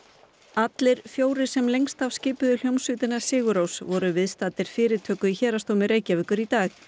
allir fjórir sem lengst af skipuðu hljómsveitina sigur Rós voru viðstaddir fyrirtöku í Héraðsdómi Reykjavíkur í dag